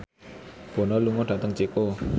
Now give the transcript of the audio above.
Bono lunga dhateng Ceko